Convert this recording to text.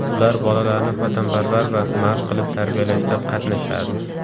Ular bolalarni vatanparvar va mard qilib tarbiyalashda qatnashadi.